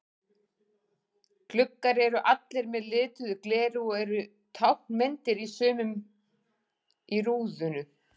Gluggar eru allir með lituðu gleri og eru táknmyndir í sumum í rúðum.